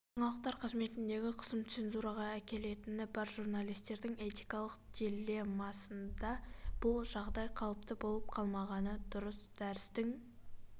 жаңалықтар қызметіндегі қысым цензураға әкелетіні бар журналистердің этикалық диллемасында бұл жағдай қалыпты болып қалмағаны дұрыс дәрістің